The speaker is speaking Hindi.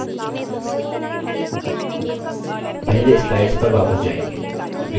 पहले slides पर वापस जायेंगे